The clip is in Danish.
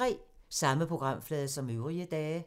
Samme programflade som øvrige dage